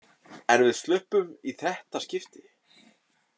En við sluppum í þetta skipti.